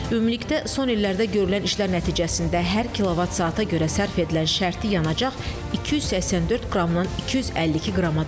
Ümumilikdə son illərdə görülən işlər nəticəsində hər kilovat saata görə sərf edilən şərti yanacaq 284 qramdan 252 qrama düşüb.